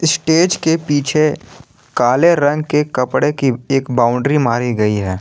Stage के पीछे काले रंग के कपड़े की एक बाउंड्री मारी गई है।